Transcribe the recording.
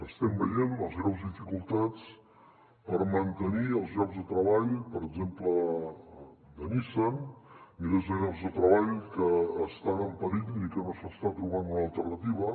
estem veient les greus dificultats per mantenir els llocs de treball per exemple de nissan milers de llocs de treball que estan en perill i que no s’està trobant una alternativa